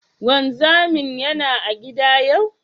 Wanzamin Yana a gida yau?